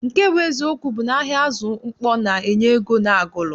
Nke bụ eziokwu bụ na ahịa azụ mkpọ na- enye ego n'Agulu.